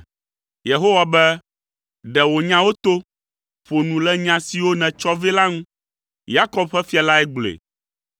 Yehowa be, “Ɖe wò nyawo to. Ƒo nu le nya siwo nètsɔ vɛ la ŋu.” Yakob ƒe fia lae gblɔe.